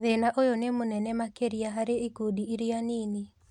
Thĩna ũyũ nĩ mũnene makĩria harĩ ikundi iria nini